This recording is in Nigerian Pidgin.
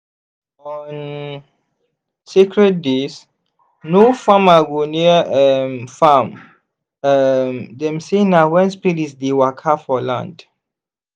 on sacred days no farmer go near um farm um dem say na when spirits dey waka for land.